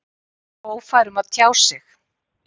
Ófær um að tjá sig?